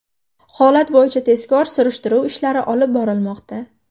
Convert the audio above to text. Holat bo‘yicha tezkor surishtiruv ishlari olib borilmoqda.